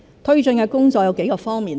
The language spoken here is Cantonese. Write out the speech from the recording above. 推進的工作有幾方面。